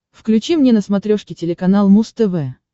включи мне на смотрешке телеканал муз тв